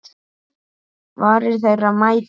Varir þeirra mætast.